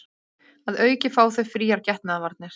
Að auki fá þau fríar getnaðarvarnir